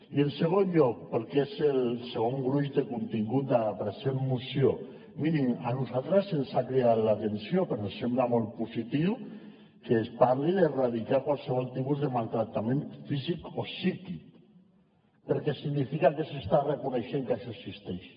i en segon lloc pel que és el segon gruix de contingut de la present moció mirin a nosaltres ens ha cridat l’atenció però ens sembla molt positiu que es parli d’erradicar qualsevol tipus de maltractament físic o psíquic perquè significa que s’està reconeixent que això existeix